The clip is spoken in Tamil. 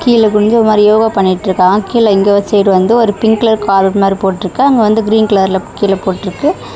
கீழ குனிஞ்ச மாரி யோகா பண்ணிட்டிருக்காங்க. கீழ இங்க ஒரு சைடு வந்து ஒரு பிங்க் கலர் காலர் மாரி போட்ருக்கு அங்க வந்து கிரீன் கலர்ல கீழ போட்ருக்கு.